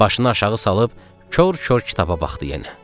Başını aşağı salıb kor-kor kitaba baxdı yenə.